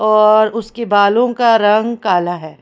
और उसके बालों का रंग काला है।